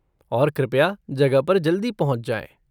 और कृपया जगह पर जल्दी पहुंच जाएँ।